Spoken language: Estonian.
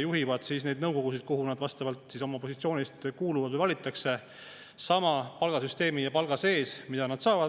juhivad neid nõukogusid, kuhu nad vastavalt oma positsioonile kuuluvad või valitakse, sama palgasüsteemi ja palga sees, mida nad saavad.